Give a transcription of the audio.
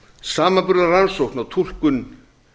samanburðarrannsókn á túlkun